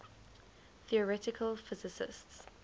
theoretical physicists